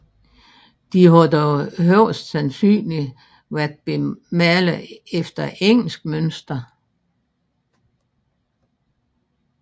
De har dog højst sandsynligt været bemalet efter engelsk mønster